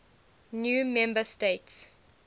new member states